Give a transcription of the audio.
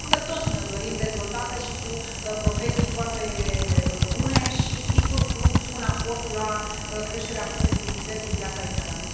Toți ne o dorim dezvoltată și cu profesii foarte bune și, sigur, cu un aport la creșterea competitivității în piața internă.